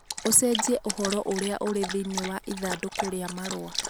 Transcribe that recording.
ũcenjie ũhoro ũrĩa ũrĩ thĩinĩ wa ithandũkũ rĩa marũa